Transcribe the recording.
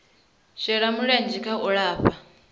shela mulenzhe kha u lafha